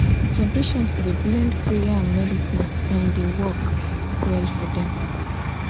some patient dey blend prayer and medicine and e dey work well for dem.